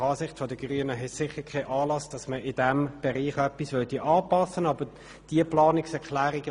Nach Ansicht der Grünen besteht deshalb sicher kein Anlass, in diesem Bereich etwas anzupassen.